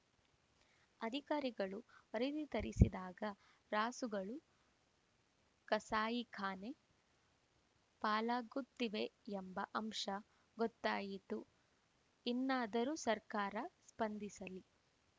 ಅಧಿಕಾರಿಗಳು ವರದಿ ತರಿಸಿದಾಗ ರಾಸುಗಳು ಕಸಾಯಿ ಖಾನೆ ಪಾಲಾಗುತ್ತಿವೆಯೆಂಬ ಅಂಶ ಗೊತ್ತಾಯಿತು ಇನ್ನಾದರೂ ಸರ್ಕಾರ ಸ್ಪಂದಿಸಲಿ